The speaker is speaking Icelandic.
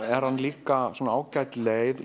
er hann líka ágæt leið